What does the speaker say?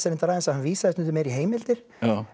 aðeins að hann vísaði stundum meira í heimildir